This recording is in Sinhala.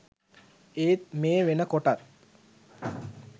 ඒත් මේ වෙනකොටත්